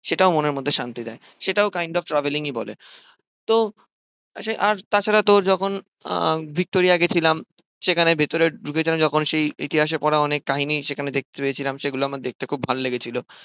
সেটাও মনের মধ্যে শান্তি দেয়। সেটাও kind of traveling ই বলে। তো আসে আর তাছাড়া তোর যখন আহ ভিক্টোরিয়া গিয়েছিলাম, সেখানে ভেতরে ঢুকেছিলাম যখন সেই ইতিহাসে পড়া অনেক কাহিনী সেখানে দেখতে পেয়েছিলাম। সেগুলো দেখতে আমার খুব ভালো লেগেছিল।